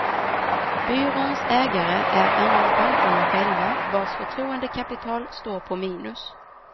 Byråns ägare är annars bankerna själva, vars förtroendekapital står på minus.